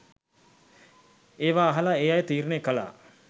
ඒවා අහල ඒ අය තීරණය කළා